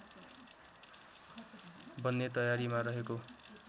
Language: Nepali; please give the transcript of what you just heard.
बन्ने तयारीमा रहेको